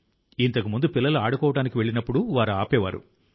ఇంతకుముందు పిల్లలు ఆడుకోవడానికి వెళ్ళినప్పుడు వారు ఆపేవారు